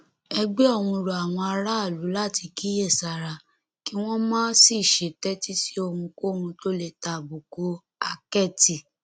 ẹgbẹ ọhún rọ àwọn aráàlú láti kíyèsára kí wọn má sì ṣe tẹtí sí ohunkóhun tó lè tàbùkù àkẹtì